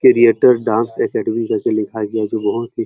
creator dance academy जैसे लिखा गया है --